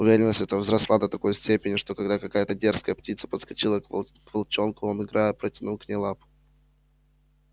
уверенность эта возросла до такой степени что когда какая то дерзкая птица подскочила к волчонку он играя протянул к ней лапу